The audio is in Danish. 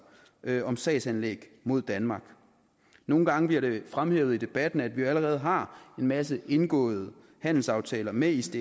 om sagsanlæg mod danmark nogle gange bliver det fremhævet i debatten at vi allerede har en masse indgåede handelsaftaler med isds